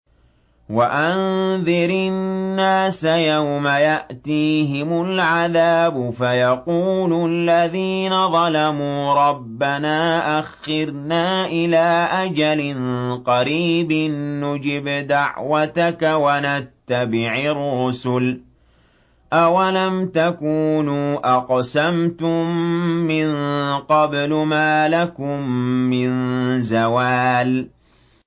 وَأَنذِرِ النَّاسَ يَوْمَ يَأْتِيهِمُ الْعَذَابُ فَيَقُولُ الَّذِينَ ظَلَمُوا رَبَّنَا أَخِّرْنَا إِلَىٰ أَجَلٍ قَرِيبٍ نُّجِبْ دَعْوَتَكَ وَنَتَّبِعِ الرُّسُلَ ۗ أَوَلَمْ تَكُونُوا أَقْسَمْتُم مِّن قَبْلُ مَا لَكُم مِّن زَوَالٍ